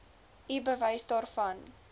u bewys daarvan